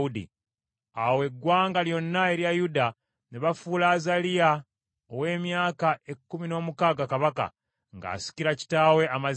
Awo eggwanga lyonna erya Yuda, ne bafuula Azaliya ow’emyaka ekkumi n’omukaaga kabaka, ng’asikira kitaawe Amaziya.